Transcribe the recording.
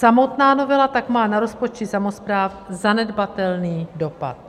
Samotná novela tak má na rozpočty samospráv zanedbatelný dopad.